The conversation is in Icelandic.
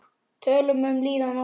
Tölum um líðan okkar.